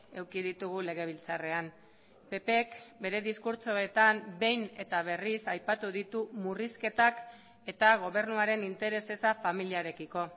eduki ditugu legebiltzarrean ppk bere diskurtsoetan behin eta berriz aipatu ditu murrizketak eta gobernuaren interes eza familiarekiko